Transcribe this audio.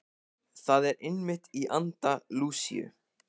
Það er einmitt í anda Lúsíu.